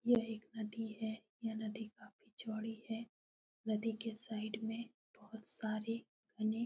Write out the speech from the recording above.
यह एक नदी है। यह नदी काफी चौड़ी है। नदी के साइड में बोहोत सारे घने --